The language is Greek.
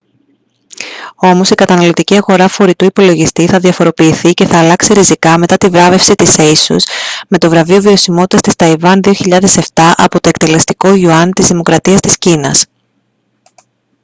όμως η καταναλωτική αγορά φορητού υπολογιστή θα διαφοροποιηθεί και θα αλλάξει ριζικά μετά τη βράβευση της asus με το βραβείο βιωσιμότητας της ταϊβάν 2007 από το εκτελεστικό γιουάν της δημοκρατία της κίνας